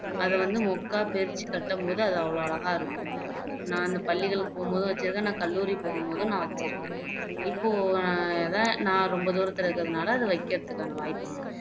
அதை திரிச்சு கட்டும் போது அவ்ளோ அழகா இருக்கும் நான் அந்த பள்ளிகளுக்கு போகும் போதும் வச்சுருக்கேன் நான் கல்லூரிக்கு போகும் போதும் நான் வச்சுருக்கேன்இப்போ ஆஹ் நான் ரொம்ப தூரத்துல இருக்கதுனால அதை வைக்குறதுக்கான வாய்ப்பு இல்ல